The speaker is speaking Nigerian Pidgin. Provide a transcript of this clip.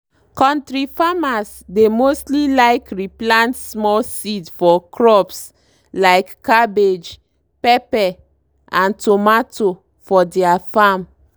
kontri farmers dey mostly like re plant small seeds for crops like cabbage pepper and tomato for deir farm.